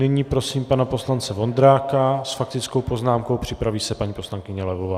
Nyní prosím pana poslance Vondráka s faktickou poznámkou, připraví se paní poslankyně Levová.